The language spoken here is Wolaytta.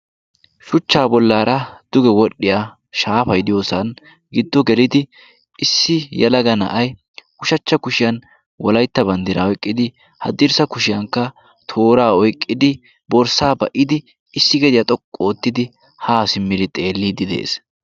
shuchchaa bollaara duge wodhdhiya shaafai diyoosan giddo gelidi issi yalaga na7ai ushachcha kushiyan walaitta banddiraa oiqqidi haddirssa kushiyankka toora oiqqidi borssaa ba77idi issi gediyaa xoqqu oottidi haa simmiri xeelliidi de7ees